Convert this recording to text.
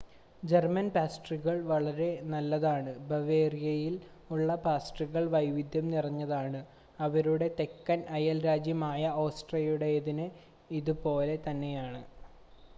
German പാസ്ട്രികൾ വളരെ നല്ലതാണ്. ബവേറിയയിൽ ഉള്ള പാസ്ട്രികൾ വൈവിധ്യം നിറഞ്ഞതാണ്. അവരുടെ തെക്കൻ അയൽ രാജ്യമായ ഓസ്ട്രിയയുടേതിന് ഇതുപോലെ തന്നെയാണ്